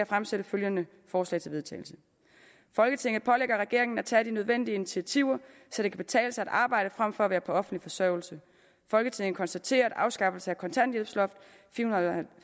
fremsætte følgende forslag til vedtagelse folketinget pålægger regeringen at tage de nødvendige initiativer så det kan betale sig at arbejde frem for at være på offentlig forsørgelse folketinget konstaterer at afskaffelse af kontanthjælpsloftet